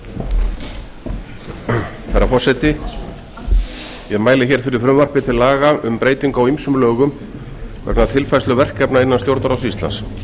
næsta spóla herra forseti ég mæli hér fyrir frumvarpi til laga um breytingu á ýmsum lögum vegna tilfærslu verkefna innan stjórnarráðs íslands